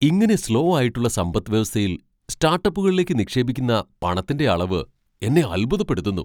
ഇങ്ങനെ സ്ലോ ആയിട്ടുള്ള സമ്പദ് വ്യവസ്ഥയിൽ സ്റ്റാട്ടപ്പുകളിലേക്ക് നിക്ഷേപിക്കുന്ന പണത്തിന്റെ അളവ് എന്നെ അൽഭുതപ്പെടുത്തുന്നു.